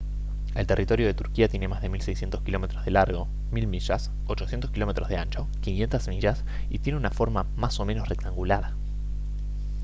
el territorio de turquía tiene más de 1600 kilómetros de largo 1000 mi 800 km de ancho 500 mi y tiene una forma más o menos rectangular